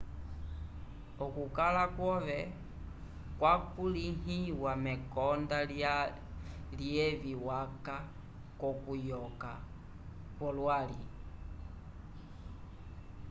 okukala kwove kwakulĩhiwa mekonda lyevi waca k'okuyova kwolwali